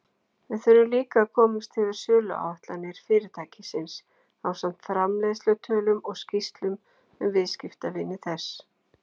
Við þurfum líka að komast yfir söluáætlanir fyrirtækisins ásamt framleiðslutölum og skýrslum um viðskiptavini þess.